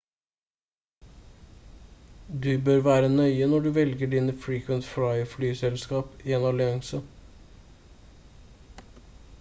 du bør være nøye når du velger dine frequent flyer- flyselskap i en allianse